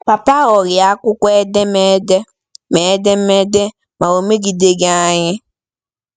Papa aghọghị akwụkwọ edemede; ma edemede; ma o megideghị anyị.